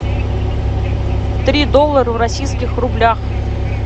три доллара в российских рублях